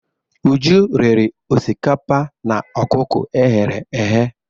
Uju riri osikapa na ọkụkọ e ghere eghe.